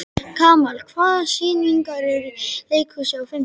Kamal, hvaða sýningar eru í leikhúsinu á fimmtudaginn?